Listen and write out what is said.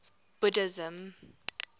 buddhism